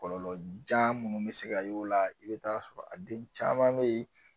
Kɔlɔlɔjan minnu bɛ se ka y'o la i bɛ taa sɔrɔ a den caman bɛ yen